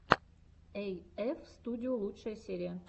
эйэф студио лучшая серия